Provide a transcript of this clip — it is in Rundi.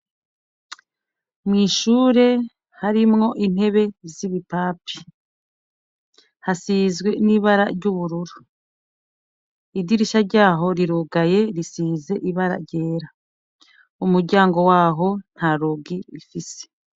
Mwishure harimwo intebe z'ibipapi hasizwe n'ibara ry'ubururu idirisha ryaho rirugaye risize ibara ryera umuryango waho nta rugi ifise.